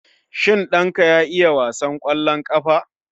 Shin ɗanka ya iya wasan kwallon ƙafa?